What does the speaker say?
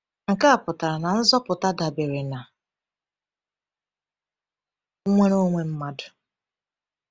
Nke a pụtara na nzọpụta dabere na nnwere onwe mmadụ.